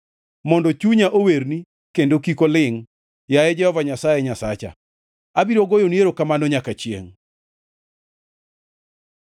mondo chunya owerni kendo kik olingʼ. Yaye Jehova Nyasaye Nyasacha, abiro goyoni erokamano nyaka chiengʼ.